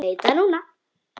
Veit það núna.